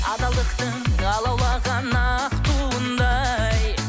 адалдықтың алаулаған ақ туындай